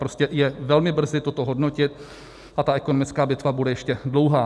Prostě je velmi brzy toto hodnotit a ta ekonomická bitva bude ještě dlouhá.